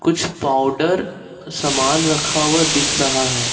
कुछ पाउडर सामान रखा हुआ दिख रहा है।